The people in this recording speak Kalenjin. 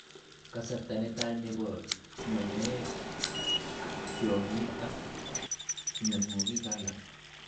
Kasarta netai nebo nyonyooek, tyongik, ak myanwookik alak